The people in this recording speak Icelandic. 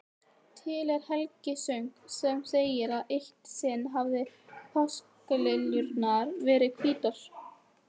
Til er helgisögn sem segir að eitt sinn hafi páskaliljurnar verið hvítar.